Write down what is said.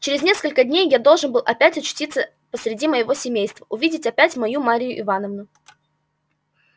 через несколько дней должен я был опять очутиться посреди моего семейства увидеть опять мою марью ивановну